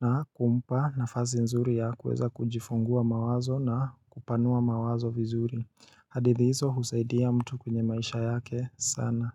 na kumpa nafasi nzuri ya kueza kujifungua mawazo na kupanua mawazo vizuri hadithi hizo husaidia mtu kwenye maisha yake sana.